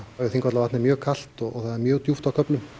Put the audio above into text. Þingvallavatn er mjög kalt og það er mjög djúpt á köflum